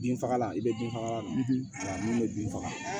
Bin fagalan i bɛ bin fagalan na mun bɛ bin faga